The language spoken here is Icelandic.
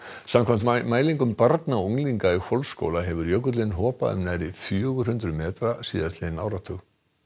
samkvæmt mælingum barna og unglinga í Hvolsskóla hefur jökullinn hopað um nærri fjögur hundruð metra síðastliðinn áratug